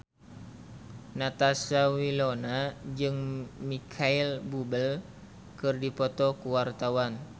Natasha Wilona jeung Micheal Bubble keur dipoto ku wartawan